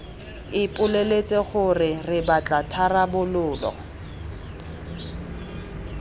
ipoleletse gore re batla tharabololo